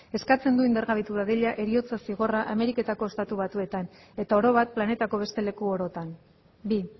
eskatzen du indargabetu dadila heriotza zigorra ameriketako estatu batuetan eta oro bat planetako beste leku orotan bi